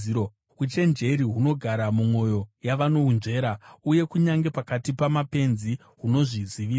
Uchenjeri hunogara mumwoyo yavanohunzvera uye kunyange pakati pamapenzi hunozvizivisa.